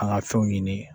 An ka fɛnw ɲini